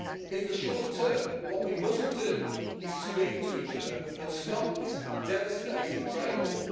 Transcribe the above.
In the short term, what we must do is speak to each other and stop this devastating trade war.